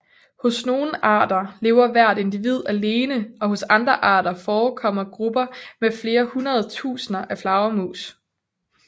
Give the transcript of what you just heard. Hos nogle arter lever hvert individ alene og hos andre arter forekommer grupper med flere hundredtusinder af flagermus